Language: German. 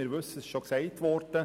Es ist bereits erwähnt worden: